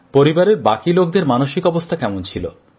পরিবারের বাকি লোকদের মানসিক অবস্থা কেমন ছিল